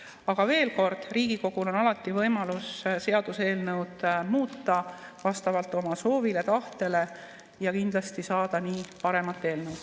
Aga veel kord: Riigikogul on alati võimalus seaduseelnõu muuta vastavalt oma soovile ja tahtele ning kindlasti saada nii parem eelnõu.